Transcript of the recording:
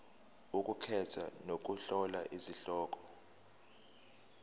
ukukhetha nokuhlola izihloko